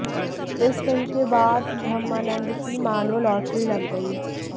इस फिल्म के बाद ब्रह्मानंद की मानो लॉट्री लग गई